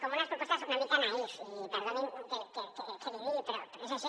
com unes propostes una mica naïfs i perdonin que els hi digui però és així